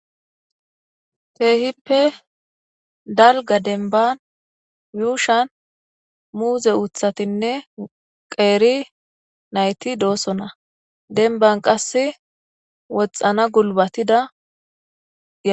keehippe dalga denban yuushan muuze uthatinne qeeri nayti doosona denban qass woxxana gulbatidaa